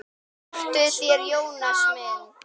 Þektuð þér Jónas minn?